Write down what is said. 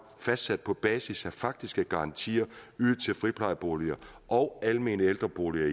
fastsat på basis af faktiske garantier ydet til friplejeboliger og almene ældreboliger